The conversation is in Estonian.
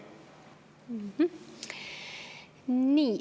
Nii.